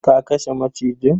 ka kashe macijin?